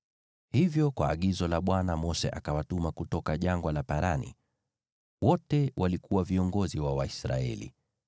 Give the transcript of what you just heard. Hivyo kwa agizo la Bwana Mose akawatuma kutoka Jangwa la Parani. Wote walikuwa viongozi wa Waisraeli.